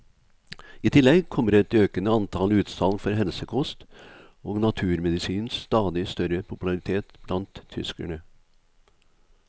I tillegg kommer et økende antall utsalg for helsekost og naturmedisinens stadig større popularitet blant tyskerne.